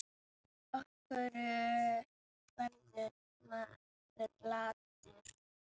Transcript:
Af hverju verður maður latur?